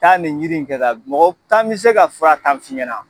Taa nin yiri in kɛ ka mɔgɔ tan bi se ka fura tan f'i ɲɛna